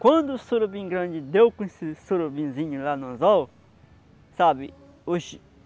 Quando o surubim grande deu com esse sorobinzinho lá no anzol, sabe? Os